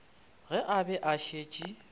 ge a be a šetše